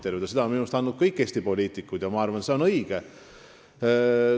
Seda on minu meelest teinud kõik Eesti poliitikud ja ma arvan, et see on õige.